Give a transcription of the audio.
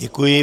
Děkuji.